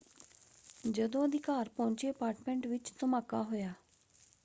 ਜਦੋਂ ਅਧਿਕਾਰ ਪਹੁੰਚੇ ਅਪਾਰਟਮੈਂਟ ਵਿੱਚ ਧਮਾਕਾ ਹੋਇਆ।